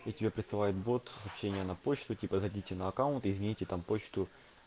и тебе присылает бот сообщение на почту типа зайдите на аккаунт измените там почту